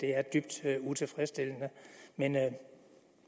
er dybt utilfredsstillende men